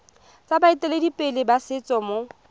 tsa baeteledipele ba setso mo